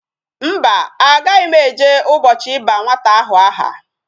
Mba, agaghi m eje ubochi iba nwata ahu aha